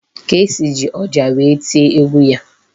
Kcee ji ọjà wee tie egwu ya.